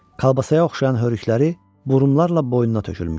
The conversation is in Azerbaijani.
Kolbasaya oxşayan hörükləri burumlarla boynuna tökülmüşdü.